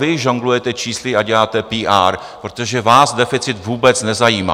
Vy žonglujete čísly a děláte PR, protože vás deficit vůbec nezajímá.